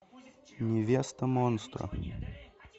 невеста монстра